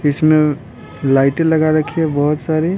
इसमें लाइट लगा रखी है बहुत सारी --